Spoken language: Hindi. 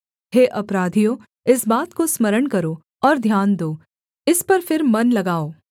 हे अपराधियों इस बात को स्मरण करो और ध्यान दो इस पर फिर मन लगाओ